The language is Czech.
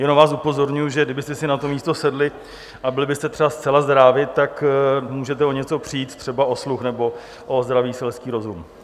Jenom vás upozorňuji, že kdybyste si na to místo sedli a byli byste třeba zcela zdrávi, tak můžete o něco přijít, třeba o sluch nebo o zdravý selský rozum.